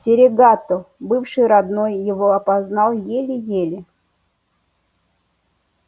серегато бывший родной его опознал еле-еле